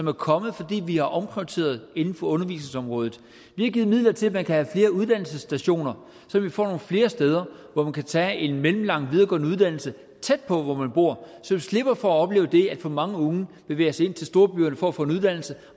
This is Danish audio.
er kommet fordi vi har omprioriteret inden for undervisningsområdet vi har givet midler til at man kan have flere uddannelsesstationer så vi får nogle flere steder hvor man kan tage en mellemlang videregående uddannelse tæt på hvor man bor så vi slipper for at opleve at for mange unge bevæger sig ind til storbyerne for at få en uddannelse